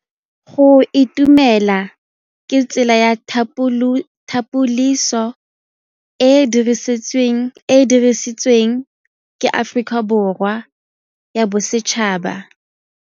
Go itumela ke tsela ya tlhapolisô e e dirisitsweng ke Aforika Borwa ya Bosetšhaba.